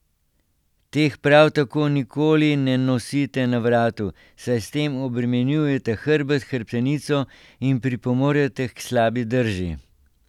Teh prav tako nikoli ne nosite na vratu, saj s tem obremenjujete hrbet, hrbtenico in pripomorete k slabi drži.